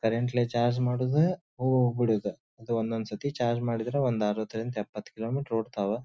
Current ಲಿ charge ಮಾಡುವುದು ಹೋಗ್ಬಿಡುವುದು ಒಂದ್ ಒಂದ್ ಸತಿ ಚಾರ್ಜ್ ಮಾಡಿದ್ರೆ ಅರವತ್ ಐದರಿಂದ ಎಪ್ಪತ್ ಕಿಲೋಮೀಟರ್ ಓಡ್ತವಾ.